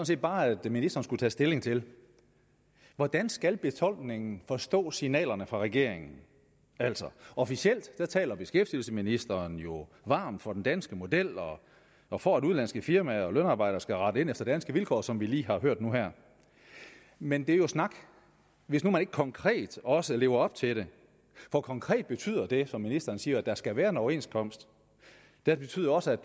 set bare at ministeren skulle tage stilling til hvordan skal befolkningen forstå signalerne fra regeringen altså officielt taler beskæftigelsesministeren jo varmt for den danske model og for at udenlandske firmaer og lønarbejdere skal rette ind efter danske vilkår som vi lige har hørt nu her men det er jo snak hvis man ikke konkret også lever op til det for konkret betyder det som ministeren siger at der skal være en overenskomst det betyder også at